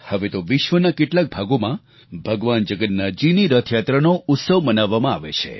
હવે તો વિશ્વના કેટલાક ભાગોમાં ભગવાન જગન્નાથજીની રથયાત્રાનો ઉત્સવ મનાવવામાં આવે છે